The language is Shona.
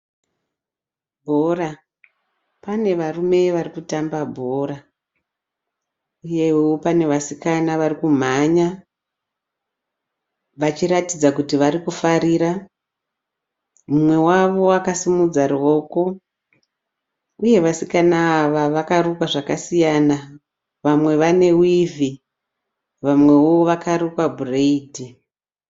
Bhora, pane varume varikutamba bhora uyewo pane vasikana varikumhanya vachiratidza kuti varikufarira. Mumwe wavo akasimudza ruoko uye vasikana ava vakarukwa zvakasiyana, vamwe vanewivhi vamwewo vakarukwa bhureidhi.